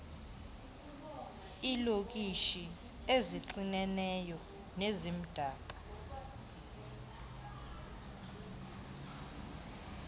iilokishi ezixineneyo nezimdaka